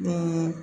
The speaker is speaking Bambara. Ni